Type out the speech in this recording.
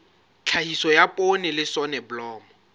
tlhahiso ya poone le soneblomo